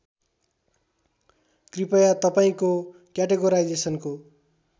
कृपया तपाईँको क्याटेगोराइजेसनको